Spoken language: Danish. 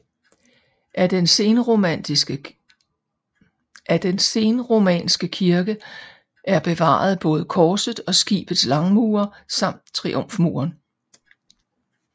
Af den senromanske kirke er bevaret både korets og skibets langmure samt triumfmuren